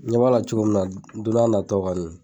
N ɲɛ b'a la cogo min na don na taw la